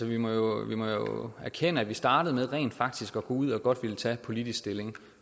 vi må jo erkende at man startede med rent faktisk gå ud og tage politisk stilling